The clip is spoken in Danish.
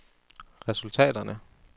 resultaterne